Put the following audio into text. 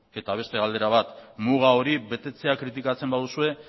eta beste galdera bat muga hori betetzea kritikatzen baduzue